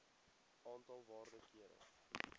aantal waarde kere